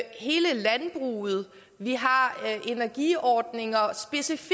er hele landbruget vi har energiordninger specifikt